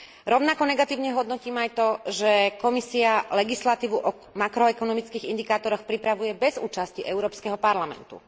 Rovnako negatívne hodnotím aj to, že Komisia legislatívu o makroekonomických indikátoroch pripravuje bez účasti Európskeho parlamentu.